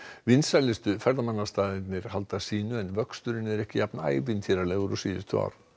vinsælustu ferðamannastaðirnir halda sínu en vöxturinn er ekki jafn ævintýralegur og síðustu ár